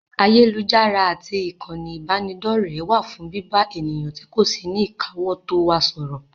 Ayélujára àti ìkànnì ìbánidọ́rẹ̀ẹ́ wà fún bíbá ènìyàn tí kò sí ní ìkáwótó wa sọ̀rọ̀.